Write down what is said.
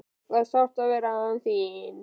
Það er sárt að vera án þín.